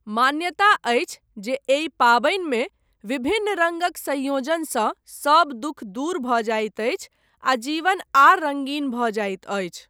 मान्यता अछि जे एहि पाबनिमे विभिन्न रङ्गक सँयोजनसँ सभ दुःख दूर भऽ जाइत अछि आ जीवन आर रङ्गीन भऽ जाइत अछि।